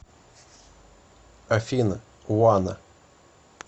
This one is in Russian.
афина уана